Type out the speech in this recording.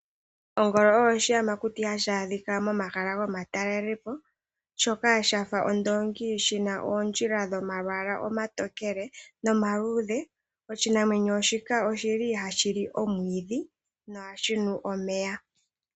Ongolo oyo oshiyamakuti hashi adhika momahala gomatalelepo shoka shafa oondongi shina oondjila dhomalwaala omatokele nomaluudhe. Oshinamwenyo shika oshili hashi li omwiidhi nokunwa omeya.